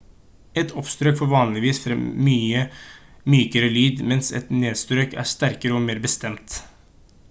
et oppstrøk får vanligvis frem en mykere lyd mens et nedstrøk er sterkere og mer bestemt